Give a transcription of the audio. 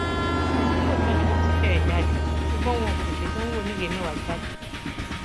lóòótọ ni wọn ti fẹẹ jáde ṣùgbọn wọn kò ṣèdánwò oníwèé mẹwàá jáde